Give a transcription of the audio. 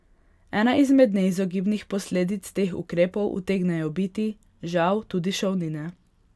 Ena izmed neizogibnih posledic teh ukrepov utegnejo biti, žal, tudi šolnine.